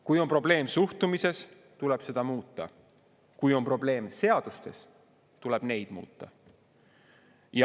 Kui on probleem suhtumises, tuleb seda muuta, kui on probleem seadustes, tuleb neid muuta.